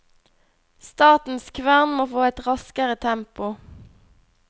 Statens kvern må få et raskere tempo.